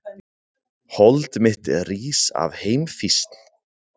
Hold mitt rís af heimfýsn.